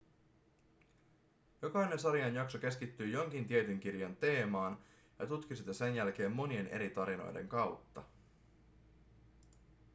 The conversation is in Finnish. jokainen sarjan jakso keskittyi jonkin tietyn kirjan teemaan ja tutki sitä sen jälkeen monien eri tarinoiden kautta